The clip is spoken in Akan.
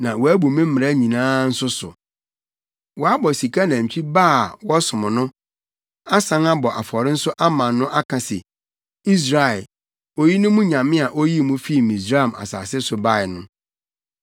na wɔabu me mmara nyinaa nso so. Wɔabɔ sika nantwi ba a wɔsom no, asan abɔ afɔre nso ama no aka se, ‘Israel, oyi ne mo nyame a oyii mo fii Misraim asase so bae no.’ ”